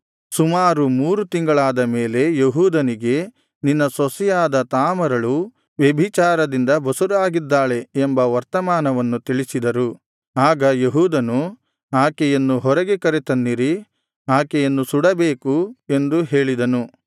ಸುಮಾರು ಮೂರು ತಿಂಗಳಾದ ಮೇಲೆ ಯೆಹೂದನಿಗೆ ನಿನ್ನ ಸೊಸೆಯಾದ ತಾಮಾರಳು ವ್ಯಭಿಚಾರದಿಂದ ಬಸುರಾಗಿದ್ದಾಳೆ ಎಂಬ ವರ್ತಮಾನವನ್ನು ತಿಳಿಸಿದರು ಆಗ ಯೆಹೂದನು ಆಕೆಯನ್ನು ಹೊರಗೆ ಕರತನ್ನಿರಿ ಆಕೆಯನ್ನು ಸುಡಬೇಕು ಎಂದು ಹೇಳಿದನು